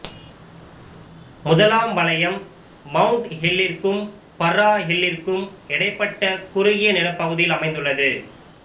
முதலாம் வலயம் மவுண்ட் ஹில்லிற்கும் பர்ரா ஹில்லிற்கும் இடைப்பட்ட குறுகிய நிலப்பகுதியில் அமைந்துள்ளது